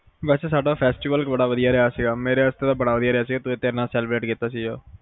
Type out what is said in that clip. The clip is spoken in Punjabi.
ਸਾਡਾ festival ਬੜਾ ਵੱਦੀਆਂ ਰਿਹਾ ਸੀ ਮੇਰੇ ਵਾਸਤੇ ਤਾ ਬੜਾ ਵੱਦੀਆਂ ਰਿਹਾ ਸੀ ਤੇਰ ਨਾਲ celebrate ਕੀਤਾ ਸੀ ਜੋ